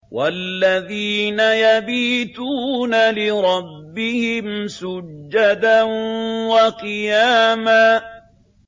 وَالَّذِينَ يَبِيتُونَ لِرَبِّهِمْ سُجَّدًا وَقِيَامًا